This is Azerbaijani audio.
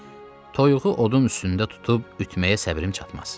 Ancaq toyuğu odun üstündə tutub ütüməyə səbrim çatmaz.